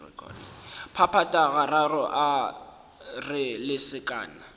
phaphatha gararo a re lesekana